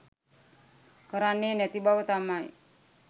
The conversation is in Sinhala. කරන්නේ නැති බව තමයි